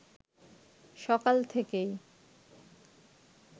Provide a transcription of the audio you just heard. সকাল থেকেই